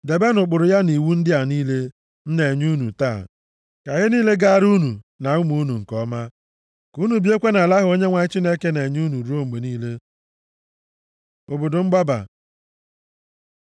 Debenụ ụkpụrụ ya na iwu ndị a niile m na-enye unu taa, ka ihe niile gaara unu na ụmụ unu nke ọma, ka unu biekwa nʼala ahụ Onyenwe anyị Chineke na-enye unu ruo mgbe niile. Obodo mgbaba